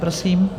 Prosím.